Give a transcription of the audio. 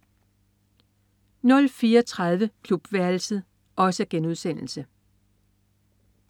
04.30 Klubværelset*